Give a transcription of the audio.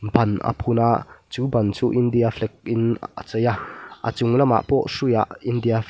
ban a phun a chu ban chu india flag in a chei a a chung lamah pawh hruiah india flag --